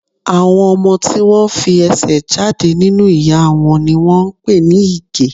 Àwọn ọmọ tí wón fi ẹsẹ̀ jáde nínú ìyá wọn ni wón ń pè ní Ìgẹ̀.